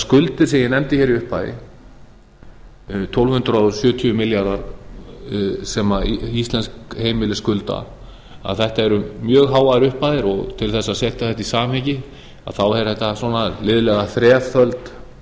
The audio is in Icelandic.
skuldir sem ég nefndi í upphafi tólf hundruð sjötíu milljarðar sem íslensk heimili skulda þetta eru mjög háar upphæðir og til þess að setja þetta í samhengi er þetta liðlega